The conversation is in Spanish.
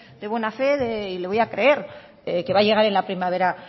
de buena fe y le voy a creer que va a llegar en la primavera